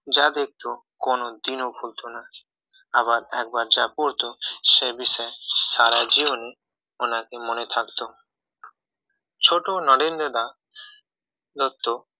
যাদের তো কোনদিনই ভুলতো না আবার যা পড়তো সেই বিষয়ে সারা জীবন মানে আর কি মনে থাকতো ছোট নরেন্দ্রনাথ দত্ত